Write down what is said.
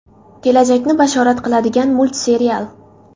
Kelajakni bashorat qiladigan multserial.